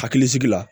Hakilisigi la